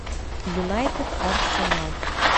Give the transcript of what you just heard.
юнайтед арсенал